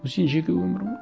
ол сенің жеке өмірің ғой